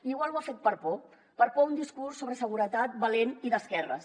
potser ho ha fet per por per por a un discurs sobre seguretat valent i d’esquerres